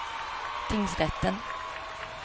tingsrätten